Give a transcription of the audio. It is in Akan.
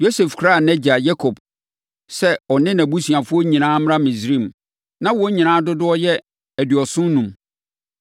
Yosef kraa nʼagya Yakob sɛ ɔne nʼabusuafoɔ nyinaa mmra Misraim. Na wɔn nyinaa dodoɔ yɛ aduɔson enum.